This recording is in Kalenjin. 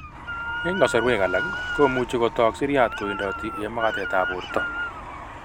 Eng' kasarwek alak komuchi kotok siryat kowendoti eng' magatetab borto